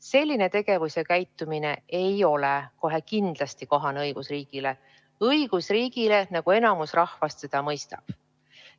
Selline tegevus ja käitumine ei ole kohe kindlasti kohane õigusriigile – õigusriigile, nagu enamik rahvast seda mõistab.